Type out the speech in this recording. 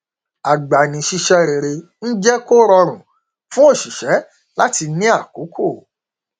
agbanisíṣẹ rere ń jẹ kó rọrùn fún oṣìṣẹ láti ní àkókò